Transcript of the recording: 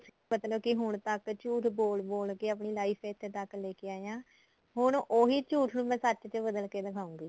ਮਤਲਬ ਕਿ ਹੁਣ ਤੱਕ ਝੂਠ ਬੋਲ ਬੋਲ ਕੇ ਆਪਣੀ life ਇੱਥੇ ਤੱਕ ਲੈ ਕੇ ਆਏ ਆ ਹੁਣ ਉਹੀ ਝੂਠ ਮੈਂ ਸੱਚ ਚ ਬਦਲ ਕੇ ਦਿਖਾਉਗੀ